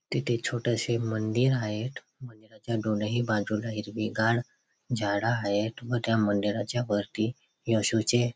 तिथे छोटेशे मंदिर आहेत. मंदिराच्या दोनही बाजूनी हिरवीगार झाड आहेत. व मंदिराच्या वरती येशु चे--